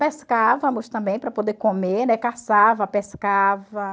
Pescávamos também para poder comer, né, caçava, pescava.